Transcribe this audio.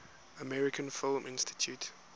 american film institute